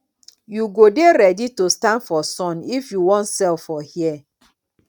you go dey ready to stand for sun if you wan sell for here